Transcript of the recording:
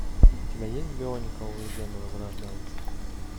у тебя есть бионикл легенда возрождается